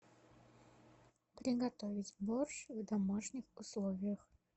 приготовить борщ в домашних условиях